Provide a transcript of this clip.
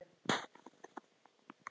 Henni fór aftur.